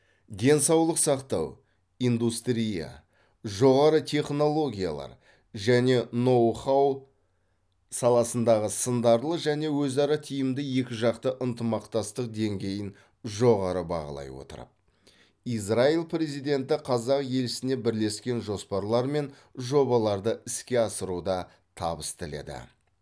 денсаулық сақтау индустрия жоғары технологиялар және ноу хау саласындағы сындарлы және өзара тиімді екіжақты ынтымақтастық деңгейін жоғары бағалай отырып израиль президенті қазақ елшісіне бірлескен жоспарлар мен жобаларды іске асыруда табыс тіледі